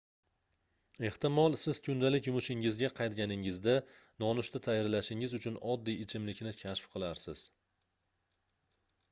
ehtimol siz kundalik yumushingizga qaytganingizda nonushta tayyorlashingiz uchun oddiy ichimlikni kashf qilarsiz